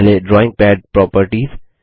पहले drawing pad properties